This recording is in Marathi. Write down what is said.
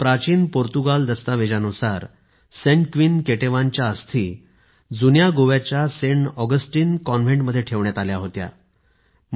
एका प्राचीन पोर्तुगाल दस्तावेनुसार सेंट क्वीन केटेवानच्या अस्थी जुन्या गोव्याच्या सेंट ऑगस्टीन कॉन्व्हेंट मध्ये ठेवण्यात आल्या होत्या